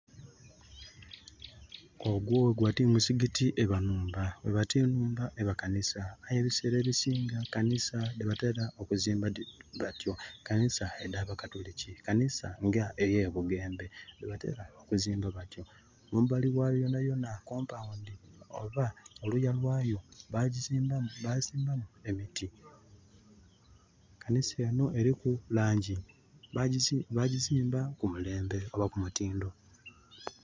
Ogwo weguba ti muzikiti eba nhumba, weba ti nhumba eba kanisa. Aye ebiseera ebisinga kanisa dhe batera okuzimba batyo, kanisa edh'abakatuliki, kanisa nga eye Bugembe de batera okuzimba batyo. Mumbali wayo yonayona compound oba oluya lwayo bagisimbamu emiti. Kanisa eno eriku langi. Bigizimba ku mulembe oba ku mutindo.